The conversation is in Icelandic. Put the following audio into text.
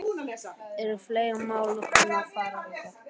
Eru fleiri mál sem að kunna að fara þangað þá?